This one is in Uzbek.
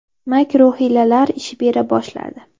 Makr-u hiylalar ish bera boshladi.